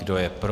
Kdo je pro?